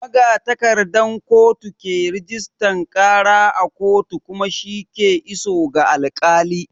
Magatakardan kotu ke rajistan ƙara a kotu kuma shi ke iso ga alƙali.